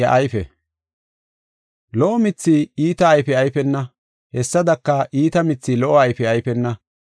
“Lo77o mithi iita ayfe ayfena; hessadaka iita mithi lo77o ayfe ayfena.